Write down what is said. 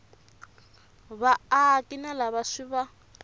vaaki na lava swi va